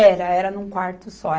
era num quarto só.